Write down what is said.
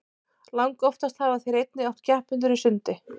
langoftast hafa þeir einnig átt keppendur í sundi